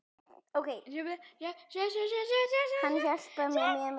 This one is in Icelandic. Hann hjálpar mér mjög mikið.